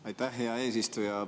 Aitäh, hea eesistuja!